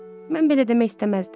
Mən belə demək istəməzdim.